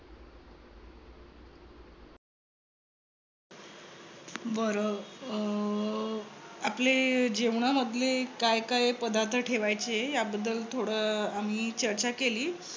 बर. अं आपले जेवणामधले काय काय पदार्थ ठेवायचे. याबद्दल थोड अह आम्ही चर्चा केली.